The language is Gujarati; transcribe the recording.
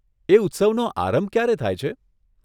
એ ઉત્સવનો આરંભ ક્યારે થાય છે?